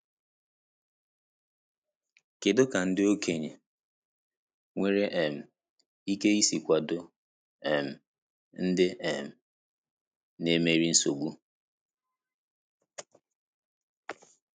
Kedu ka ndị okenye nwere um ike isi kwado um ndị um na-emeri nsogbu?